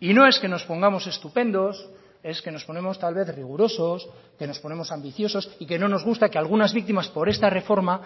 y no es que nos pongamos estupendos es que nos ponemos tal vez rigurosos que nos ponemos ambiciosos y que no nos gusta que algunas víctimas por esta reforma